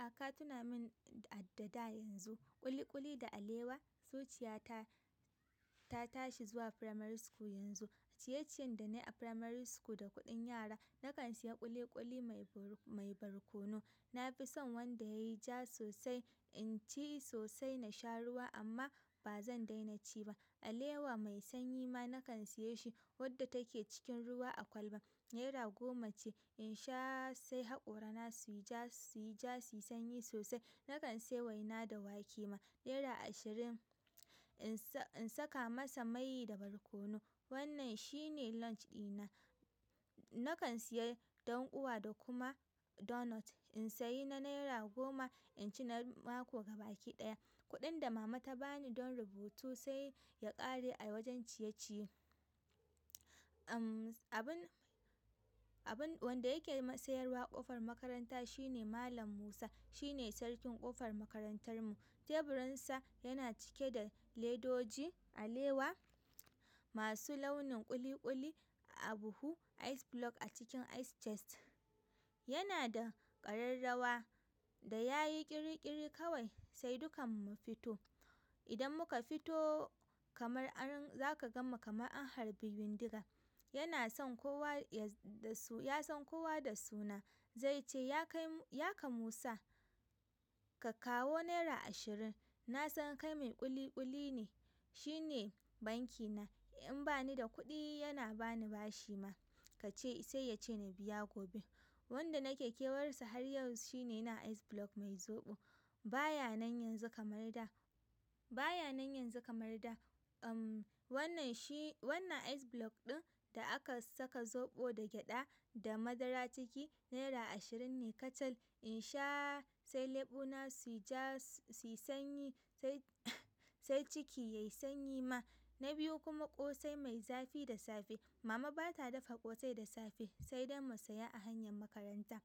A ka tuna min a da da yanzu. Kuli kuli da alewa zuciyata ta tashi zuwa firamari school yanzu. Ciye-ciyen da na yi a firamare school da kuɗin yara, na kan saya ƙuli ƙuli mai barkono. Na fi son wanda ya yi ja sosai, in ci sosai na sha ruwa amma ba zan daina ci ba. Alewa mai sanyi ma na kan siye shi wadda take cikin ruwa a kwalba. Naira goma ce. In sha sai haƙorana su yi ja, su yi sanyi sosai. Na kan sayi waina da wake ma. Naira ashirin in saka masa mai da barkono. Wannan shi ne launch dina na kan siya ɗanƙuwa da kuma donut. In sayi na naira goma, in ci na mako gaba-ki-ɗaya. Kuɗin da mama ta bani don rubutu sai ya kare a wajen ciye ciye abun wanda yake sayarwa ƙofar makaranta shi ne Malam Musa. Shi ne sarkin ƙofar makarantar mu. Teburinsa yana cike da ledoji, alewa masu launin ƙuli ƙuli a buhu, ice block a cikin ice chest. Yana da ƙararrawa da ya yi ƙir-ƙir kawai sai dukanmu mu fito. Idan muka fito kamar an za ka gan mu kamar an harbi bindiga. Yana san kowa da su ya san kowa da suna. Zai ce, yaka musa ka kawo naira ashirin na san kai mai ƙuli ƙuli ne. Shi ne banki na. In bani da kuɗi yana bani bashi ma. Sai ya ce na biya gobe. Wanda nake kewarsa har yau shi ne yana ice block mai zoɓo. Ba ya nan yanzu kamar da. Wannan ice block ɗin da aka saka zoɓo da gyaɗa da madara ciki, naira ashirin ne kacal. In sha sai leɓuna su yi ja su yi sanyi, sai ciki ya yi sanyi ma. Na biyu kuma ƙosai mai zafi da safe. Mama ba ta dafa ƙosai da safe sai dai mu saya a hanyar makaranta.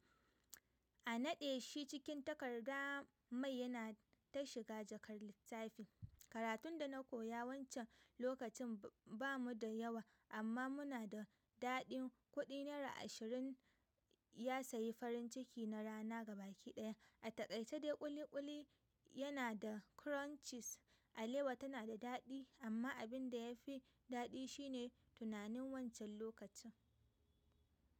A naɗe shi cikin takarda mai yana ta shiga jakar littafi. Karatun da na koya wancan lokacin ba mu da yawa amma muna da daɗin kuɗi naira ashirin ya sayi farin ciki na rana gaba ki ɗaya. A taƙaice dai ƙuli ƙuli yana da crunches, alewa tana da daɗi amma abin da ya fi daɗi shi ne tunanin wancan lokacin.